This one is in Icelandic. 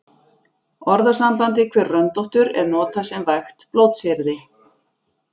Orðasambandið hver röndóttur er notað sem vægt blótsyrði.